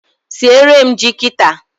Siere m ji kita